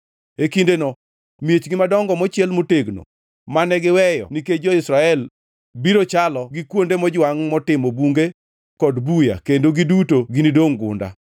E kindeno miechgi madongo mochiel motegno, mane giweyo nikech jo-Israel, biro chalo gi kuonde mojwangʼ motimo bunge kod buya kendo giduto ginidongʼ gunda.